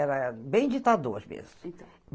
Era bem ditador mesmo. Então